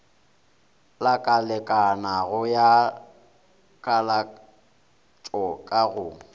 lakalekanago ya kalatšo ka go